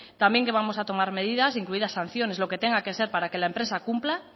también vamos a tomar medidas incluidas sanciones lo que tenga que ser para que la empresa cumpla